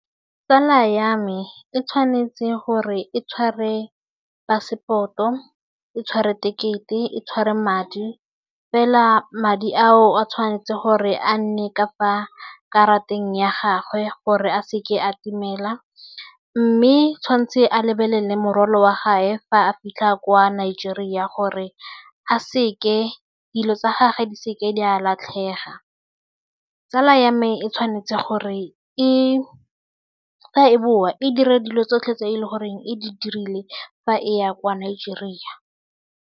Tsala ya me e tshwanetse gore e tshware pasepoto, e tshwere tekete, e tshware madi, fela madi ao a tshwanetse gore a nne ka fa karateng ya gagwe gore a se ke a itumela mme tshwantse a lebelele morwalo wa gae fa a fitlha kwa Nigeria gore a se ke dilo tsa gage di se ke di a latlhega. Tsala ya me e tshwanetse gore e fa e bowa e dire dilo tsotlhe tse e le goreng e di dirile fa e ya kwa Nigeria.